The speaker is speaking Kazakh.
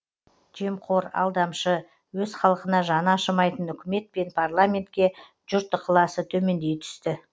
жемқор алдамшы өз халқына жаны ашымайтын үкімет пен парламентке жұрт ықыласы төмендей түсті